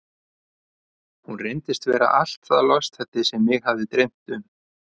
Hún reyndist vera allt það lostæti sem mig hafði dreymt um.